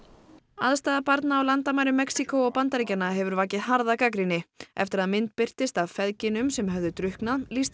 aðstaða barna á landamærum Mexíkó og Bandaríkjanna hefur vakið harða gagnrýni eftir að mynd birtist af feðginum sem höfðu drukknað lýsti